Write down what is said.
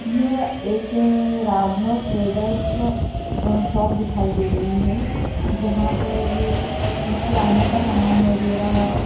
यह एक Raghav traders a shop दिखाई दे रही है जहां पर किराने का समान वगैरा--